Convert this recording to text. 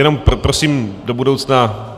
Jen prosím do budoucna...